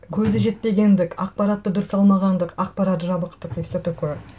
көзі жетпегендік ақпаратты дұрыс алмағандық ақпарат жабықтық и все такое